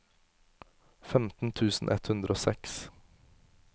femten tusen ett hundre og seks